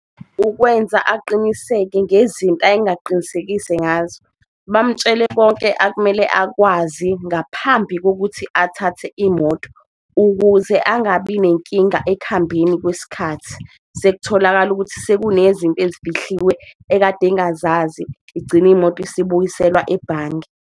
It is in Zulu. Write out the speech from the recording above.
Ukwenza aqiniseke ngezinto ayengaqinisekise ngazo, bamutshele konke akumele akwazi ngaphambi kokuthi athathe imoto ukuthi ukuze angabi nenkinga ekuhambeni kwesikhathi. Sekutholakala ukuthi sekunezinto ezifihliwe ekade engazazi igcine imoto isibuyiselwa ebhange.